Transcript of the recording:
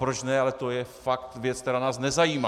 Proč ne, ale to je fakt věc, která nás nezajímá.